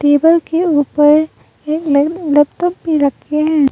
Table के ऊपर एक ले लैपटॉप भी रखे हैं।